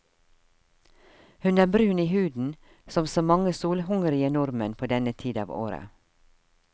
Hun er brun i huden, som så mange solhungrige nordmenn på denne tid av året.